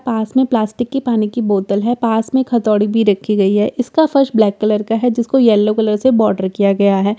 पास में प्लास्टिक की पानी की बोतल है पास में एक हथोड़ी भी रखी है इसका फर्श ब्लैक कलर का है जिसको येलो कलर से बॉर्डर किया गया है इसकी दि‍वाल--